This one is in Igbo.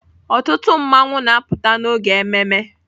Ọtụtụ mmanwụ na-apụta n'oge ememme.